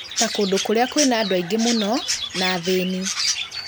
ta kũndũ kũrĩa kwĩna andũ aingĩ mũno na athĩni.